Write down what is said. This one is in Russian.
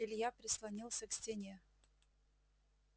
илья прислонился к стене